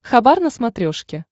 хабар на смотрешке